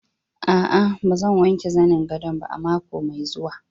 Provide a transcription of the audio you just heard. A'a, ba zan wanke zanin gadon ba a mako mai zuwa.